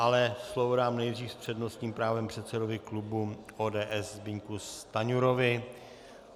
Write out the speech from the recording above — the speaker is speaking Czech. Ale slovo dám nejdřív s přednostním právem předsedovi klubu ODS Zbyňku Stanjurovi.